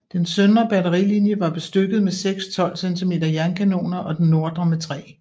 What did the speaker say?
Den søndre batterilinie var bestykket med seks 12 cm jernkanoner og den nordre med tre